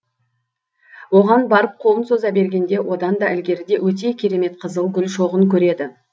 оған барып қолын соза бергенде одан да ілгеріде өте керемет қызыл гүл шоғын көреді